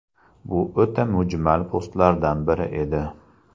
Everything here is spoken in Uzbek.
Bu o‘ta mujmal postlardan biri edi.